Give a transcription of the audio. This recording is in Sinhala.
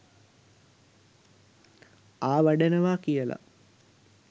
ආවඩනවා කියල.